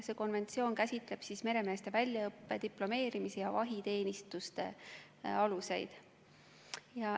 See konventsioon käsitleb meremeeste väljaõppe, diplomeerimise ja vahiteenistuse aluseid.